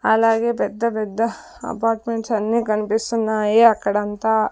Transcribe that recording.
అలాగే పెద్ద పెద్ద అపార్ట్మెంట్స్ అన్నీ కనిపిస్తున్నాయి అక్కడంతా.